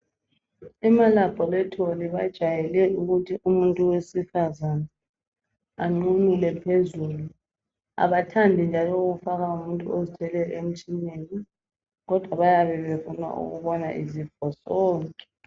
Ema laboratory bajayele ukuthi umuntu wesifazane anqunule phezulu Abathandi njalo ukufaka umuntu ozithweleyo emtshineni kodwa bayabe befuna ukubona izifo zonke